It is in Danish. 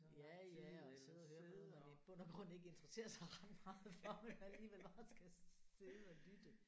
Ja ja og sidde og høre på noget man i bund og grund ikke interesserer sig ret meget for men alligevel bare skal sidde og lytte